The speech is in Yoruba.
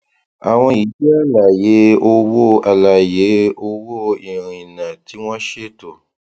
àwọn yìí jẹ àlàyé owó àlàyé owó ìrìnà tí wọn ṣètò